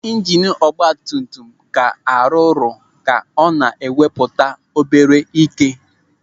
Ijinu ọgbatumtum ka a rụrụ ka ọ na-ewepụta obere ị́ké.